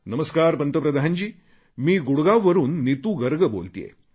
नमस्कार पंतप्रधान जी मी गुडगाववरून नीतू गर्ग बोलतेय